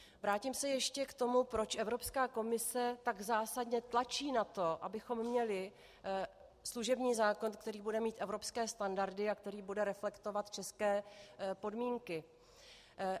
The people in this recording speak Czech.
Vrátím se ještě k tomu, proč Evropská komise tak zásadně tlačí na to, abychom měli služební zákon, který bude mít evropské standardy a který bude reflektovat české podmínky.